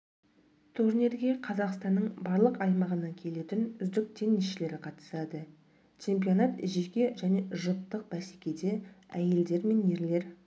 турнирге қазақстанның барлық аймағынан келетін үздік теннисшілер қатысады чемпионат жеке және жұптық бәсекеде әйелдер мен ерлер